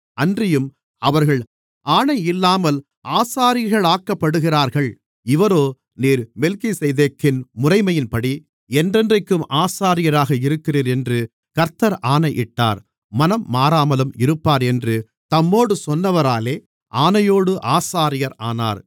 அன்றியும் அவர்கள் ஆணையில்லாமல் ஆசாரியர்களாக்கப்படுகிறார்கள் இவரோ நீர் மெல்கிசேதேக்கின் முறைமையின்படி என்றென்றைக்கும் ஆசாரியராக இருக்கிறீர் என்று கர்த்தர் ஆணையிட்டார் மனம்மாறாமலும் இருப்பார் என்று தம்மோடு சொன்னவராலே ஆணையோடு ஆசாரியர் ஆனார்